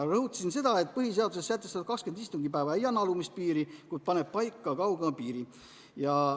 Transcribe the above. Rõhutasin seda, et põhiseaduses sätestatud 20 istungipäeva ei anna alumist piiri, kuid paneb paika kaugema piiri.